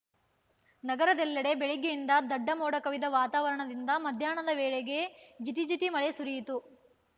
ನಗರದೆಲ್ಲೆಡೆ ಬೆಳಗ್ಗೆಯಿಂದಲೇ ದಡ್ಡಮೋಡ ಕವಿದ ವಾತಾವರಣದಿಂದ ಮಧ್ಯಾಹ್ನದ ವೇಳೆಗೆ ಜಿಟಿ ಜಿಟಿ ಮಳೆ ಸುರಿಯಿತು